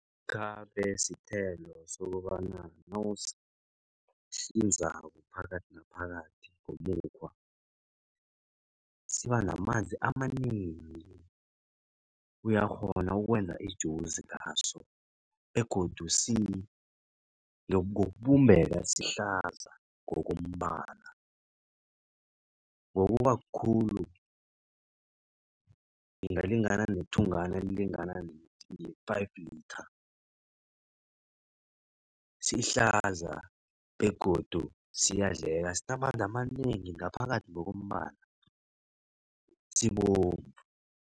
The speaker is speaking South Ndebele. Ikhabe sithelo sokobana nawusihlinzako phakathi naphakathi ngomukhwa siba namanzi amanengi. Uyakghona ukwenza ijuzi ngaso begodu ngokubumbeka sihlaza ngokombala ngokuba kukhulu singalingana nethungana elilingana ne-five litha. Sihlaza begodu ziyadleka sinamanzi amanengi ngaphakathi ngokombala sibovu.